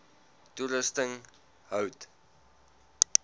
toerusting hout